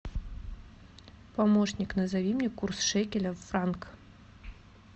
помощник назови мне курс шекеля в франк